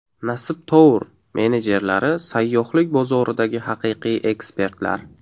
Nasib Tour menejerlari sayyohlik bozoridagi haqiqiy ekspertlar.